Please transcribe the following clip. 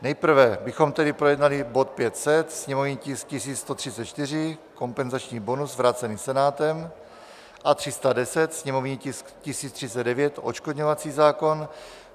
Nejprve bychom tedy projednali bod 500, sněmovní tisk 1134, kompenzační bonus, vrácený Senátem, a 310, sněmovní tisk 1039, odškodňovací zákon.